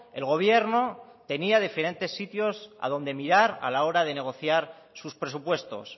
el gobierno tenía diferentes sitios a donde mirar a la hora de negociar sus presupuestos